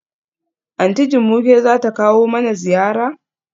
Aunty Jumoke zata kawo mana ziyara?